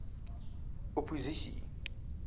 opposisie